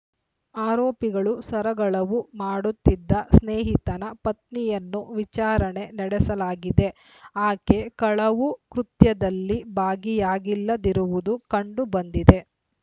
ಆರೋಪಿಗಳು ಸರಗಳವು ಮಾಡುತ್ತಿದ್ದ ಸ್ನೇಹಿತನ ಪತ್ನಿಯನ್ನು ವಿಚಾರಣೆ ನಡೆಸಲಾಗಿದೆ ಆಕೆ ಕಳವು ಕೃತ್ಯದಲ್ಲಿ ಭಾಗಿಯಾಗಿಲ್ಲದಿರುವುದು ಕಂಡು ಬಂದಿದೆ